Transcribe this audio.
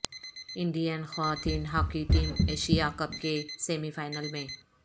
Indian خواتین hockey team Asia cup کے semi final میں